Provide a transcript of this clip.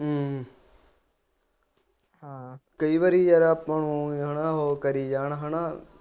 ਹਮ ਕਈ ਵਾਰੀ ਯਾਰ ਆਪਾ ਨੂੰ ਓ ਹੀ ਉਹ ਕਰੀ ਜਾਣ ਹੈਨਾ